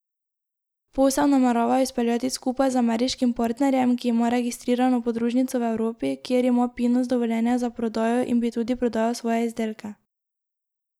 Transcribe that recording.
Posel nameravajo izpeljati skupaj z ameriškim partnerjem, ki ima registrirano podružnico v Evropi, kjer ima Pinus dovoljenje za prodajo in bi tudi prodajal svoje izdelke.